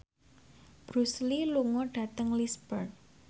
Bruce Lee lunga dhateng Lisburn